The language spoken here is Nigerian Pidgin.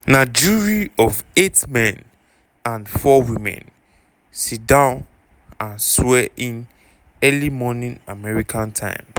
na jury of eight men and four women siddon and swear in early morning american time.